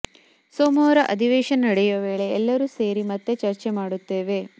ಸೋಮವಾರ ಅಧಿವೇಶನ ನಡೆಯುವ ವೇಳೆ ಎಲ್ಲರೂ ಸೇರಿ ಮತ್ತೆ ಚರ್ಚೆ ಮಾಡುತ್ತೇವೆ